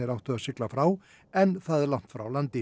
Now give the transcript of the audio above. áttu að sigla frá enn það langt frá landi